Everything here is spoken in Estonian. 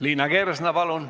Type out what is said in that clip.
Liina Kersna, palun!